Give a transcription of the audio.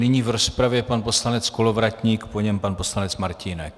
Nyní v rozpravě pan poslanec Kolovratník, po něm pan poslanec Martínek.